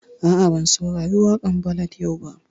A'a, ban saurari waƙan ballad yau ba